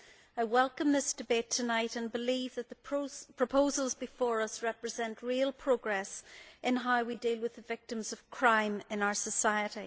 I welcome this debate tonight and believe that the proposals before us represent real progress in how we deal with the victims of crime in our society.